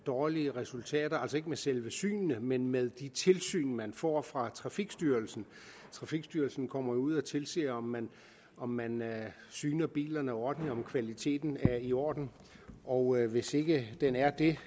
dårlige resultater ikke med selve synene men med de tilsyn man får fra trafikstyrelsen trafikstyrelsen kommer jo ud og tilser om man om man syner bilerne ordentligt og om kvaliteten er i orden og hvis ikke den er det